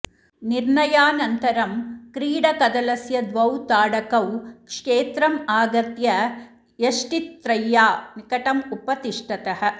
निर्णयानन्तरं क्रीडकदलस्य द्वौ ताडकौ क्षेत्रम् आगत्य यष्टित्रय्या निकटम् उपतिष्ठतः